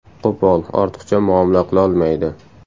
Qo‘pol, ortiqcha muomala qilolmaydi.